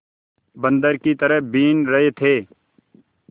बंदर की तरह बीन रहे थे